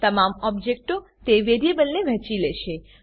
તમામ ઓબજેક્ટો તે વેરીએબલને વહેંચી લેશે